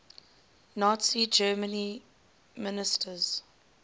nazi germany ministers